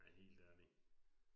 Ja helt ærlig